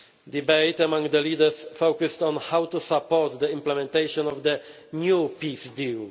Debate among the leaders focused on how to support the implementation of the new peace deal.